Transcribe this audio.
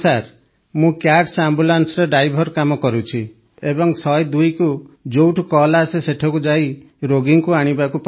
ମୁଁ କ୍ୟାଟସ୍ Ambulanceରେ ଡ୍ରାଇଭର କାମ କରୁଛି ଏବଂ ୧୦୨କୁ ଯୋଉଠୁ କଲ୍ ଆସେ ସେଠାକୁ ଯାଇ ରୋଗୀଙ୍କୁ ଆଣିବାକୁ ପଡ଼େ